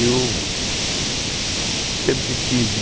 Eu sempre tive